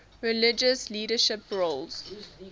religious leadership roles